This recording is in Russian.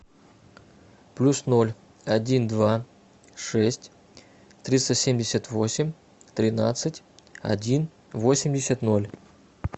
плюс ноль один два шесть триста семьдесят восемь тринадцать один восемьдесят ноль